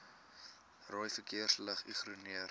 rooi verkeersligte ignoreer